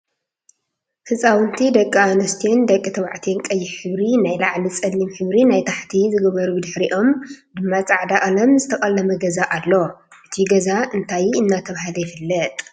ህፃውንቲ ደቂ ኣንስትዮን ደቂ ተባዕትዮን ቀይሕ ሕብሪ ናይ ላዕሊ ፀሊም ሕብሪ ናይ ታሕቲ ዝገበሩብድሕሪኦም ድማ ፃዕዳ ቀለም ዝተቀለመ ገዛ ኣሎ። እቱይ ገዛ እንታይ እናተባህለ ይፍለጥ?